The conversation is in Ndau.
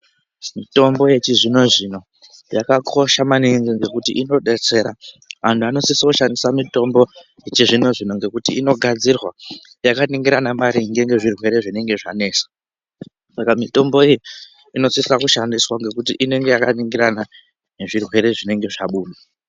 Mitombo yechizvino zvino yakakosha maningi ngekuti inodetsera antu anosise kushandisa mitombo yechizvino zvino ngekuti inogadzirwa yakaningirana maringe ngezvirwere zvinenge zvanesa. Saka mitombo iyi inosisa kushandiswa ngekuti inenge yakaningirana ngezvirwere zvinenge zvabuda.